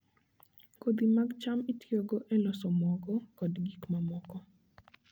Kodhi mag cham itiyogo e loso mogo kod gik mamoko.